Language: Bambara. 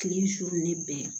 Kile su ne bɛɛ